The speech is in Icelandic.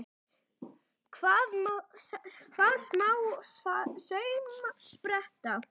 Hvað, smá saumspretta!